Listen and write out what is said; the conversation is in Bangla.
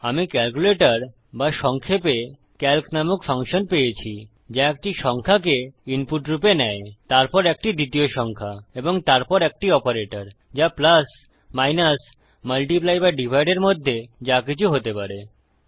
আমি ক্যালকুলেটর বা সংক্ষেপে সিএএলসি নামক ফাংশন পেয়েছি যা একটি সংখ্যাকে ইনপুট রূপে নেয় তারপর একটি দ্বিতীয় সংখ্যা এবং তারপর একটি অপারেটর যা প্লাস মাইনাস মাল্টিপ্লাই বা ডিভাইড এর মধ্যে যাকিছু হতে পারে